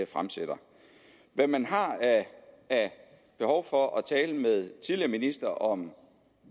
fremsætter hvad man har af behov for at tale med tidligere ministre om